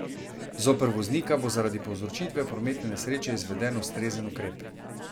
Zoper voznika bo zaradi povzročitve prometne nesreče izveden ustrezen ukrep.